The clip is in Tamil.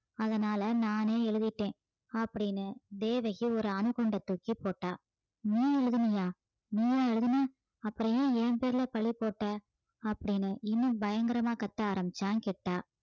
அதனால நானே எழுதிட்டேன் அப்படின்னு தேவகி ஒரு அணுகுண்டை தூக்கி போட்டா நீ எழுதினியா நீயா எழுதின அப்புறம் ஏன் என் பேருல பழி போட்ட அப்படின்னு இன்னும் பயங்கரமா கத்த ஆரம்பிச்சான் கிட்டா